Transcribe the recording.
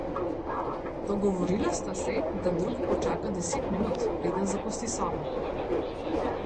Dogovorila sta se, da drugi počaka deset minut, preden zapusti sobo.